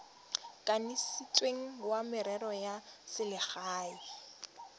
kanisitsweng wa merero ya selegae